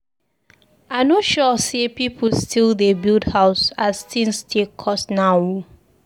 I no sure sey pipu still dey build house as tins take cost now o.